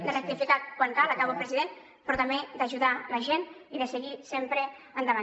de rectificar quan cal acabo president però també d’ajudar la gent i de seguir sempre endavant